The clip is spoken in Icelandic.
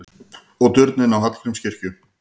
Og turninn á Hallgrímskirkju!